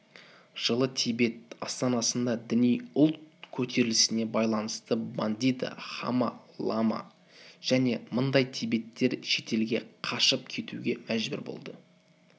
жылы тибет астанасында діни ұлт көтерілісіне байланысты бандида хамо-лама және мыңдай тибеттер шетелге қашып кетуге мәжбүр болды